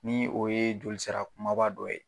Ni o ye joli sira kumaba dɔ ye.